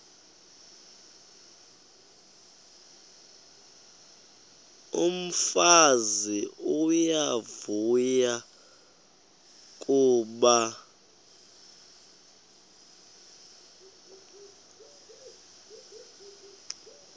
umfazi uyavuya kuba